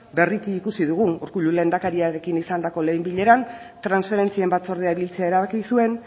berriki ikusi dugu urkullu lehendakariarekin izandako lehen bileran transferentzien batzordea biltzea erabaki zuen